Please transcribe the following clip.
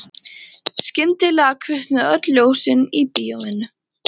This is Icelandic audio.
Skyndilega kviknuðu öll ljósin í bíóinu.